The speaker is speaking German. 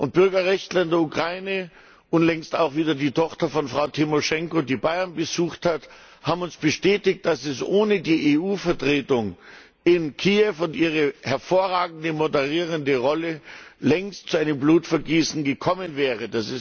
Und Bürgerrechtler in der Ukraine unlängst auch wieder die Tochter von Frau Tymoschenko, die Bayern besucht hat haben uns bestätigt, dass es ohne die EU Vertretung in Kiew und ihre hervorragende moderierende Rolle längst zu einem Blutvergießen gekommen wäre.